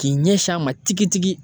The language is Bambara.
K'i ɲɛsin a ma tigitigi.